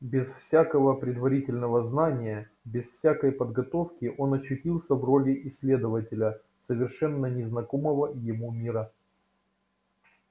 без всякого предварительного знания без всякой подготовки он очутился в роли исследователя совершенно незнакомого ему мира